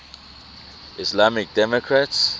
islamic democracies